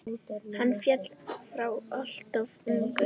Hann féll frá alltof ungur.